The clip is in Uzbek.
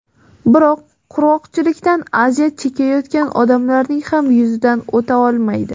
Biroq qurg‘oqchilikdan aziyat chekayotgan odamlarning ham yuzidan o‘ta olmaydi.